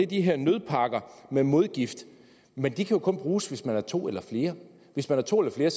de her nødpakker med modgift men de kan jo kun bruges hvis man er to eller flere hvis man er to eller flere